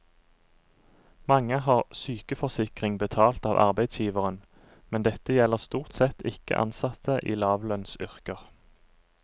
Mange har sykeforsikring betalt av arbeidsgiveren, men dette gjelder stort sett ikke ansatte i lavlønnsyrker.